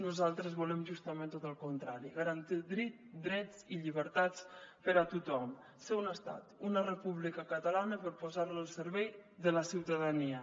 nosaltres volem justament tot el contrari garantir drets i llibertats per a tothom ser un estat una república catalana per posar la al servei de la ciutadania